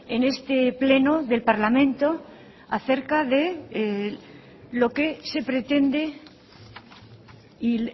en este pleno del parlamento acerca de lo que se pretende y